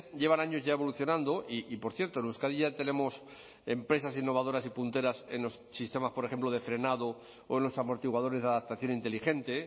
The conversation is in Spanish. llevan años ya evolucionando y por cierto en euskadi ya tenemos empresas innovadoras y punteras en los sistemas por ejemplo de frenado o en los amortiguadores de adaptación inteligente